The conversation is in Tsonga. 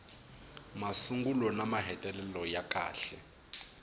masungulo na mahetelelo ya kahle